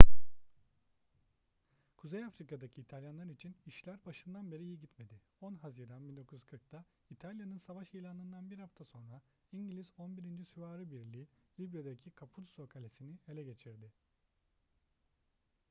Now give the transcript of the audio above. kuzey afrika'daki i̇talyanlar için işler başından beri iyi gitmedi. 10 haziran 1940'ta i̇talya'nın savaş ilanından bir hafta sonra i̇ngiliz 11. süvari birliği libya'daki capuzzo kalesi'ni ele geçirdi